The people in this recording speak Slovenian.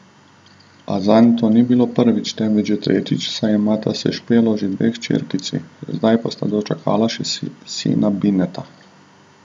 A zanj to ni bilo prvič, temveč že tretjič, saj imata s Špelo že dve hčerkici, zdaj pa sta dočakala še sina Bineta!